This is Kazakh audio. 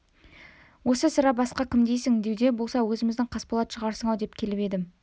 осы сірә басқа кім дейсің дәуде болса өзіміздің қасболат шығарсың-ау деп келіп едім